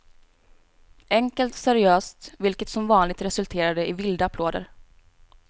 Enkelt och seriöst, vilket som vanligt resulterade i vilda applåder.